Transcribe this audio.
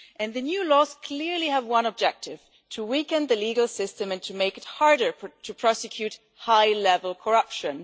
The new laws clearly have one objective to weaken the legal system and to make it harder to prosecute high level corruption.